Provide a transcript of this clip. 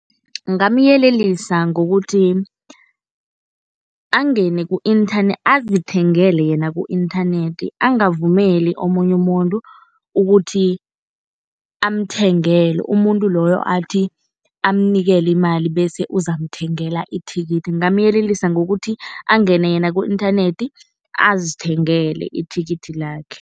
Ngingamyelelisa ngokuthi angene azithengele yena ku-inthanethi. Angavumeli omunye umuntu ukuthi amthengele, umuntu loyo athi amnikele imali bese uzamthengela ithikithi. Ngingamyelelisa ngokuthi angene yena ku-inthanethi azithengele ithikithi lakhe.